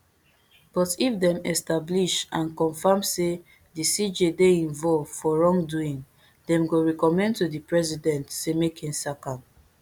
but if dem establish and confam say di cj dey involve for wrongdoing dem go recommend to di president say make im sack am